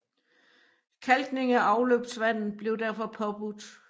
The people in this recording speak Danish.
Kalkning af afløbsvandet blev derfor påbudt